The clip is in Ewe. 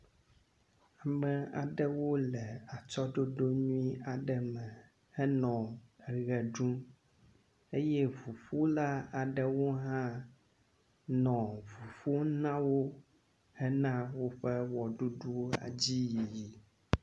Ame aɖewo le atsyɔɖoɖo nyuie aɖe me henɔ ʋe ɖum eye ŋuƒola aɖewo hã nɔ ŋu ƒom na wo hena woƒe ʋeɖuɖuwo dzi yiyi.